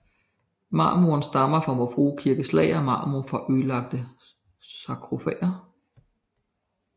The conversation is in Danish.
Marmoren stammer fra Vor Frue Kirkes lager af marmor fra ødelagte sarkofager